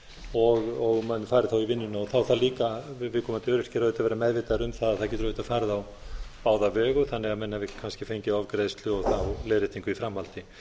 og menn færu þá í vinnuna þá þarf líka viðkomandi öryrkjar auðvitað að vera meðvitaðir um það að það getur auðvitað farið á báða vegu þannig að menn hafi ekki kannski fengið ofgreiðslu og leiðréttingu í framhaldi